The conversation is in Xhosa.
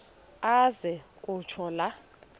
aze kutsho la